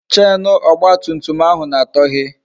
Chenu ọgba tum tum ahụ na-atọhe